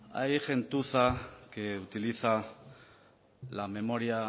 hay gentuza que utiliza la memoria